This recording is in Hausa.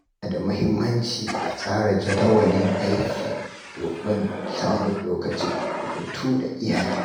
Yana da muhimmanci a tsara jadawalin aiki domin samun lokacin hutu da iyali.